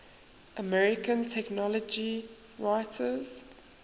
american technology writers